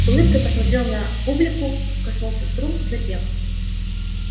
с улыбкой посмотрел на публику коснулся струн запел